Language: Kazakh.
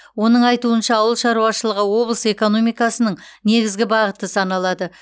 оның айтуынша ауыл шаруашылығы облыс экономикасының негізгі бағыты саналады